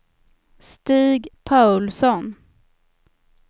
Stig Paulsson